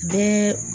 Bɛɛ